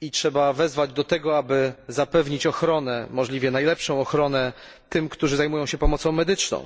i trzeba wezwać do tego, aby zapewnić ochronę możliwie najlepszą tym, którzy zajmują się pomocą medyczną.